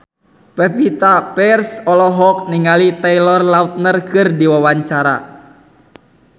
Pevita Pearce olohok ningali Taylor Lautner keur diwawancara